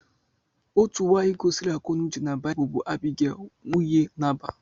Otu nwaanyị gosiri akọnauche na Baịbụl bụ Abigail nwunye Nabal.